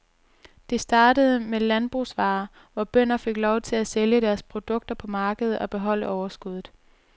Det startede med landbrugsvarer, hvor bønder fik lov til at sælge deres produkter på markedet og beholde overskuddet.